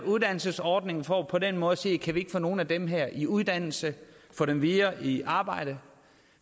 uddannelsesordning for på den måde at sige kan vi ikke få nogle af dem her i uddannelse og få dem videre i arbejde